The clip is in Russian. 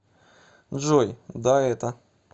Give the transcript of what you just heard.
джой да это